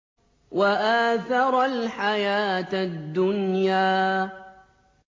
وَآثَرَ الْحَيَاةَ الدُّنْيَا